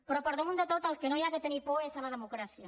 però per damunt de tot del que no s’ha de tenir por és de la democràcia